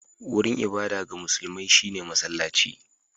Wurin ibada ga musulmai shi ne masallaci